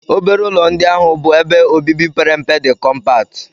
Obere ụlọ ndị ahụ bụ ebe obibi pere mpe dị kompakti.